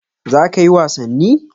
Za kayi wasanni?